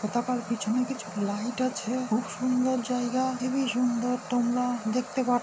পতাকার পিছনে কিছু লাইট আছে খুব সুন্দর জায়গা হেবি-ই সুন্দর তোমরা দেখতে পা--